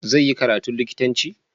Zai yi karatu likitanci?